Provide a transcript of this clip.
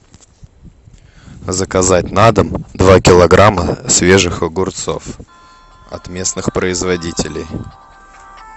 заказать на дом два килограмма свежих огурцов от местных производителей